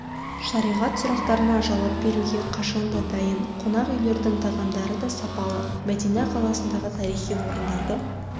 шариғат сұрақтарына жауап беруге қашан да дайын қонақ үйлердің тағамдарыда сапалы мәдина қаласындағы тарихи орындарды